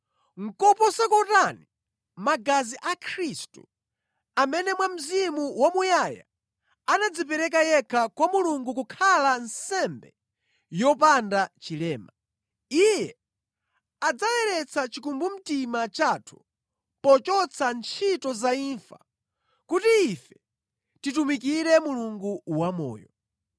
nʼkoposa kotani magazi a Khristu, amene mwa Mzimu wamuyaya anadzipereka yekha kwa Mulungu kukhala nsembe yopanda chilema. Iye adzayeretsa chikumbumtima chathu pochotsa ntchito za imfa, kuti ife titumikire Mulungu wamoyo.